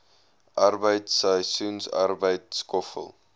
arbeid seisoensarbeid skoffel